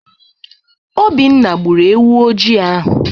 Obinna gbụrụ ewu ojii ahụ.